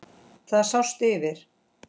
Það sást yfir